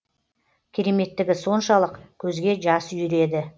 кереметтігі соншалық көзге жас үйіреді